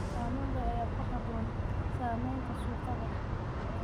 Tamaandho ayaa ku habboon samaynta suugada.